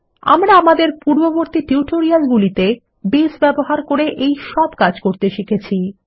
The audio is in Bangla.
আমরা আমাদের পূর্ববর্তী টিউটোরিয়ালগুলিতে বেস ব্যবহার করে এই সব কাজ করতে শিখে গেছি